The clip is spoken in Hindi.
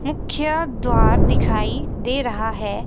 मुख्य द्वार दिखाई दे रहा है।